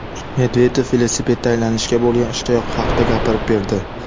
Medvedev velosipedda aylanishga bo‘lgan ishtiyoqi haqida gapirib berdi.